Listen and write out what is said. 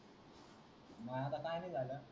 आता काय नाई झालं